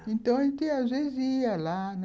– Então, às vezes, a gente ia lá, né?